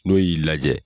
N'o y'i lajɛ